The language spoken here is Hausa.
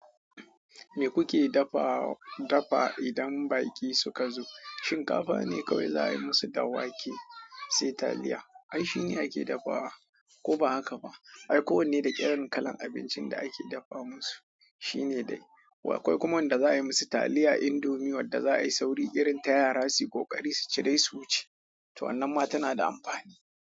Me kuke dafa, dafa idan baƙi suka zo? Shinkafa ne kawai za a yi musu da wake sai taliya. Ai shine ake dafawa ko ba haka ba? Ai, kowane da ƙirin kalan abincin da ake dafa musu shine dai. Akwai kuma wanda za ai musu taliya indomie wadda za ai sauri irin ta yara suyi kokari su ci dai su wuce. To wannan ma tana da amfani.